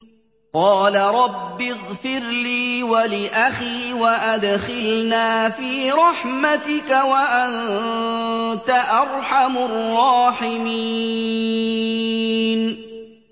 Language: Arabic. قَالَ رَبِّ اغْفِرْ لِي وَلِأَخِي وَأَدْخِلْنَا فِي رَحْمَتِكَ ۖ وَأَنتَ أَرْحَمُ الرَّاحِمِينَ